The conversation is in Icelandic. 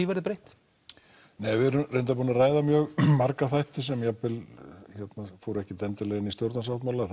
verði breytt nei við erum reyndar búin að ræða mjög marga þætti sem fóru ekki endilega inn í stjórnarsáttmálann